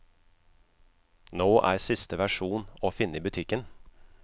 Nå er siste versjon å finne i butikken.